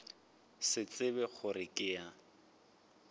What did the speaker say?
se tsebe gore ke ya